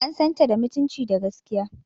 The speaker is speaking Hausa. An san ta da mutunci da gaskiya.